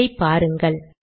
இதை பாருங்கள்